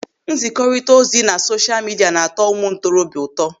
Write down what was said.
Nzikọrita ozi na sosha midia na-atụ ụmụ ntorobịa ụtọ.